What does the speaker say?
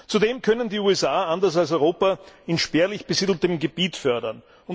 Zudem können die USA anders als Europa in spärlich besiedeltem Gebiet fördern.